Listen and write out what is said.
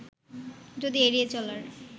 যদি এড়িয়ে চলার